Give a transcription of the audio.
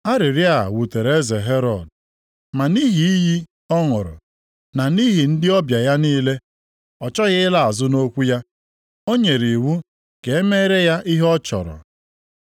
Arịrịọ a wutere eze Herọd, ma nʼihi iyi ọ ṅụrụ na nʼihi ndị ọbịa ya niile, ọ chọghị ịla azụ nʼokwu ya. O nyere iwu ka e meere ya ihe ọ chọrọ.